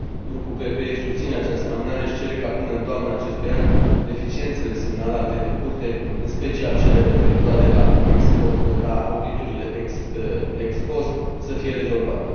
Grupul PPE susține această amânare și cere ca, până în toamna acestui an, deficiențele semnalate de Curte, în special cele referitoare la auditurile ex post, să fie rezolvate.